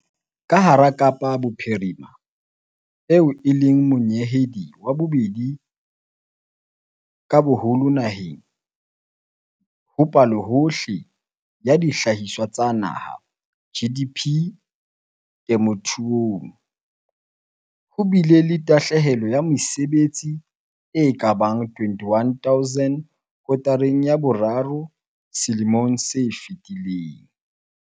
Ka hara Kapa Bophirima, eo e leng monyehedi wa bobedi ka boholo naheng ho Palohohle ya Dihlahiswa tsa Naha, GDP, temothuong, ho bile le tahle helo ya mesebetsi e ka bang 21 000 kotareng ya boraro ya selemo se fetileng.